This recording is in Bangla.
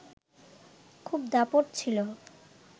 খুব দাপট ছিল